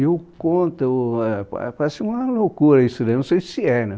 E eu conto, ãh parece uma loucura isso daí, não sei se é, né?